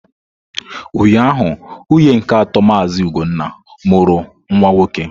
Ụnyahụ, nwunye nke atọ Mazị ugonna mụrụ nwa nwoke.